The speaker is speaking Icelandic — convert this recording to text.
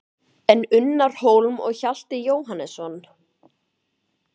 En Unnar Hólm og Hjalti Jóhannesson?